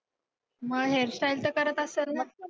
मग hairstyle तर करत असंल ना?